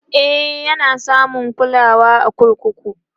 e Yana samun kulawa a kurkuku